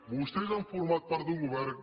vostès han format part d’un govern